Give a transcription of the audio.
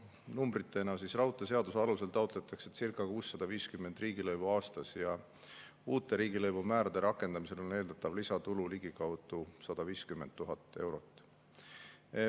Numbritena, raudteeseaduse alusel circa 650 riigilõivu aastas ja uute riigilõivumäärade rakendamisel on eeldatav lisatulu ligikaudu 150 000 eurot.